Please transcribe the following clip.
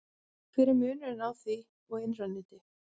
hver er munurinn á því og innra neti